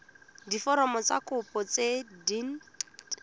diforomo tsa kopo tse dint